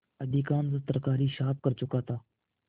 अधिकांश तरकारी साफ कर चुका था